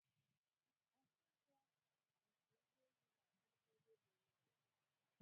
Okwo ugbo nke ugboelu ga-abụriri onye gụrụ Akwụkwọ mahadum